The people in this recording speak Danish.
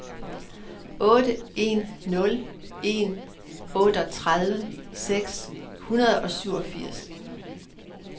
otte en nul en otteogtredive seks hundrede og syvogfirs